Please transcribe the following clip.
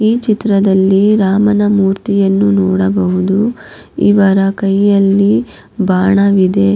ಈ ಚಿತ್ರದಲ್ಲಿ ರಾಮನ ಮೂರ್ತಿಯನ್ನು ನೋಡಬಹುದು ಇವರ ಕೈಯಲ್ಲಿ ಬಾಣವಿದೆ.